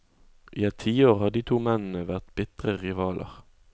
I et tiår har de to mennene vært bitre rivaler.